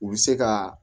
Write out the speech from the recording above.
U bɛ se ka